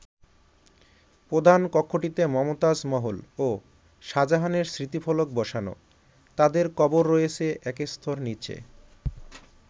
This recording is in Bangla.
প্রধান কক্ষটিতে মমতাজ মহল ও শাহজাহানের স্মৃতিফলক বসানো, তাদের কবর রয়েছে এক স্তর নিচে।